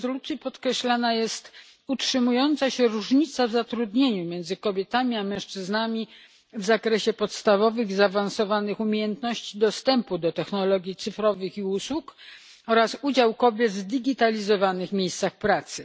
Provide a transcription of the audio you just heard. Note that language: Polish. W rezolucji podkreślana jest utrzymująca się różnica w zatrudnieniu między kobietami a mężczyznami, w zakresie podstawowych i zaawansowanych umiejętności dostępu do technologii cyfrowych i usług oraz udział kobiet w zdigitalizowanych miejscach pracy.